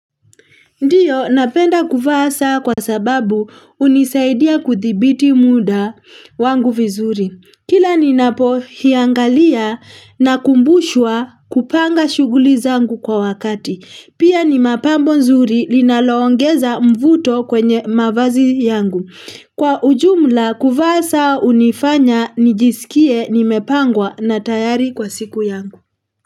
Ndiyo napenda kuvaa saa kwa sababu unisaidia kuthibiti muda wangu vizuri. Kila ninapo hiangalia na kumbushwa kupanga shuguli zangu kwa wakati. Pia ni mapambo nzuri linaloongeza mvuto kwenye mavazi yangu. Kwa ujumla kuvaa saa unifanya nijisikie nimepangwa na tayari kwa siku yangu.